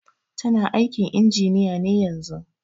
Tana aikin injiniya ne yanzun.